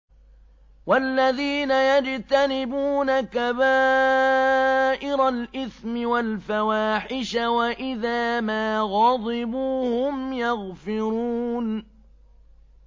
وَالَّذِينَ يَجْتَنِبُونَ كَبَائِرَ الْإِثْمِ وَالْفَوَاحِشَ وَإِذَا مَا غَضِبُوا هُمْ يَغْفِرُونَ